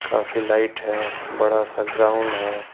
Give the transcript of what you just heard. काफी लाइट है बड़ा सा ग्राउंड है।